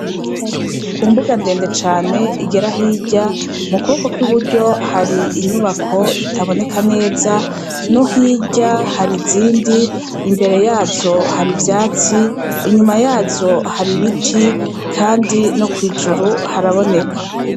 Ku mbuga ndende cane igera hirya mu kuboko kw'i buryo hari inyubako itaboneka neza no hirya hari izindi imbere yazo hari ivyatsi inyuma yazo hari ibiti, kandi no kw'ijuru haraboneka.